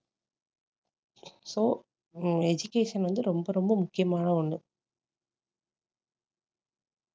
so hmm education வந்து ரொம்ப ரொம்ப முக்கியமான ஒண்ணு.